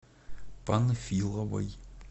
панфиловой